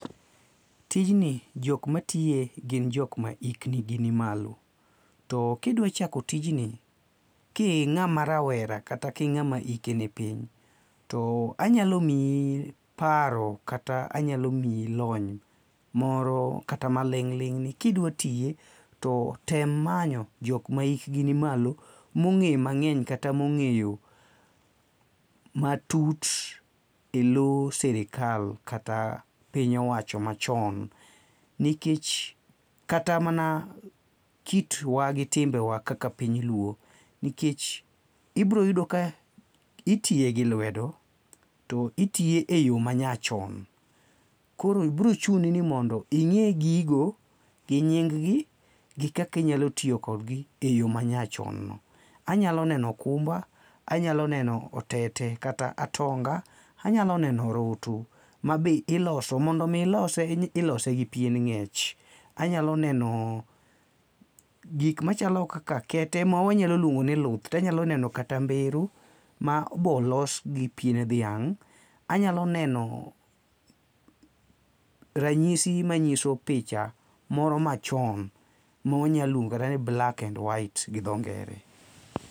Tijni jok matiye gin jok ma hikgi ni malo. To ka idwa chako tijni ka ing'ama rawera kata ka ing'ama hike nipiny to anyalo miyi paro kata anyalo miyi lony moro kata maling' ling' ni kidwa tiye to tem manyo jok mahigi ni malo mong'eyo mang'eny matut elo sirkal kata piny owacho machon nikech kata mana kitwa gi timbewa kaka piny luo, nitie ibiro yudo ka itiye gi lwedo toitiye eyo ma nyachon koro biro chuni ni mondo ing'e gigo gi nying gi gi kaka inylo tiyokodgi eyo manyachon. Anyalo neno okumbe, anyalo neno otete kata atonga, anyalo neno orutu mabe iloso mondo mi ilose nito ilose gi piend ng'ech. Anyalo neno gik machalo kaka kete ma wanyalo luongo ni luth, to anyalo neno kata mbero mabe olos gipien dhang', anyalo neno ranyisi manyiso picha moro machon ma wanyalo luongo kata ni black and white gi dho ngere.